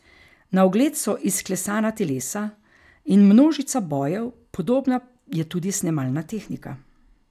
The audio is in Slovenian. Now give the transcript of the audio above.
Na ogled so izklesana telesa in množica bojev, podobna je tudi snemalna tehnika.